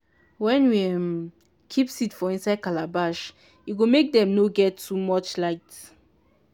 wen we um keep seed for inside calabash e go make dem nor get too much light.